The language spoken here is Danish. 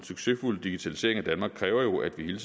succesfuld digitalisering af danmark kræver jo at vi hele